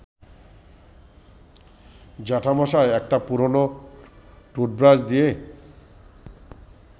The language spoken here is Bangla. জ্যাঠামশায় একটা পুরনো টুথব্রাশ দিয়ে